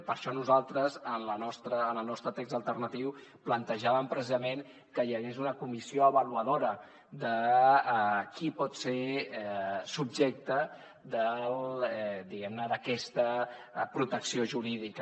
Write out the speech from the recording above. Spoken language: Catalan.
i per això nosaltres en el nostre text alternatiu plantejàvem precisament que hi hagués una comissió avaluadora de qui pot ser subjecte diguem ne d’aquesta protecció jurídica